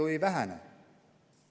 Ta ju ei vähene.